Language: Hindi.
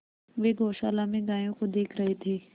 वे गौशाला में गायों को देख रहे थे